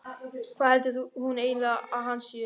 Hvað heldur hún eiginlega að hann sé!